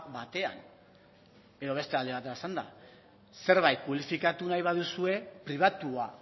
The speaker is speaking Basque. batean edo beste alde batera esanda zerbait publifikatu nahi baduzue pribatua